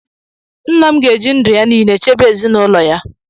Nna m ga-eji ndụ ya niile chebe ezinụlọ ya